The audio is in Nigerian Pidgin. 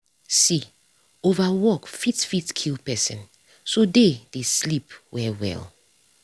see over work fit fit kill person so dey dey sleep well well.